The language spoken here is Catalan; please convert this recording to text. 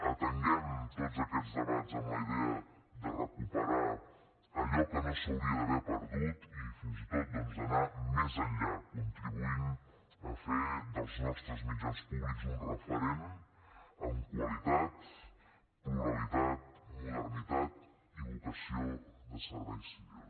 atenguem tots aquests debats amb la idea de recuperar allò que no s’hauria d’haver perdut i fins i tot doncs d’anar més enllà contribuint a fer dels nostres mitjans públics un referent en qualitat pluralitat modernitat i vocació de servei civil